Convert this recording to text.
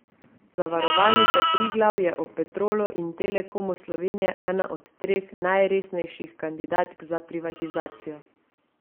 Zavarovalnica Triglav je ob Petrolu in Telekomu Slovenije ena od treh najresnejših kandidatk za privatizacijo.